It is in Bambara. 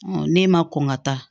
ne ma kɔn ka taa